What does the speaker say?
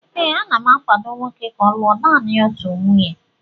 ee, ana m akwado nwoke ka ọ lụọ naanị otu nwunye